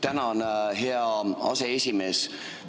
Tänan, hea aseesimees!